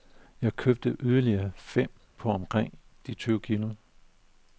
Jeg købte yderligere fem på omkring de tyve kilo.